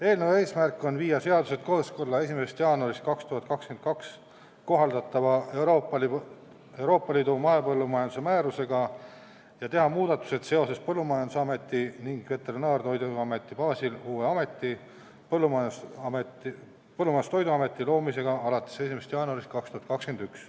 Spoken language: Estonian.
Eelnõu eesmärk on viia seadused kooskõlla 1. jaanuarist 2022 kohaldatava Euroopa Liidu mahepõllumajanduse määrusega ja teha muudatused seoses Põllumajandusameti ning Veterinaar- ja Toiduameti baasil uue ameti, Põllumajandus- ja Toiduameti loomisega 1. jaanuaril 2021.